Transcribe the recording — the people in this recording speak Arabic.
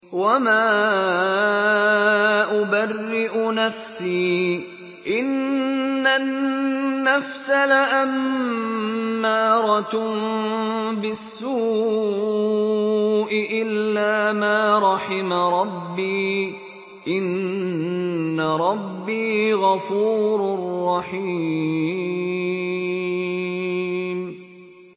۞ وَمَا أُبَرِّئُ نَفْسِي ۚ إِنَّ النَّفْسَ لَأَمَّارَةٌ بِالسُّوءِ إِلَّا مَا رَحِمَ رَبِّي ۚ إِنَّ رَبِّي غَفُورٌ رَّحِيمٌ